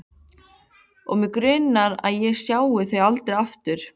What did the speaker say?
Og mig grunar að ég sjái þau aldrei aftur.